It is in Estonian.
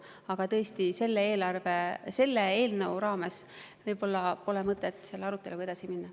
Aga tõesti, selle eelnõu raames võib-olla pole mõtet selle aruteluga edasi minna.